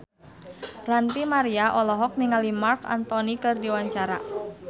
Ranty Maria olohok ningali Marc Anthony keur diwawancara